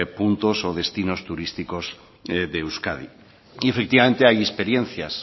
puntos o destinos turísticos de euskadi y efectivamente hay experiencias